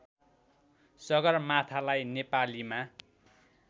सगरमाथालाई नेपालीमा